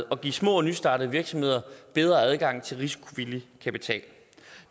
og give små og nystartede virksomheder bedre adgang til risikovillig kapital